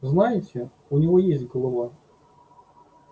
знаете у него есть голова